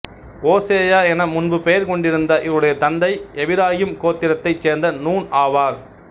ஓசேயா என முன்பு பெயர் கொண்டிருந்த இவருடைய தந்தை எபிராயிம் கோத்திரத்தைச் சேர்ந்த நூன் ஆவார்